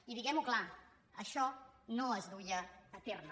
i diguem ho clar això no es duia a terme